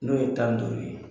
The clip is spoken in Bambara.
N'o ye tan doni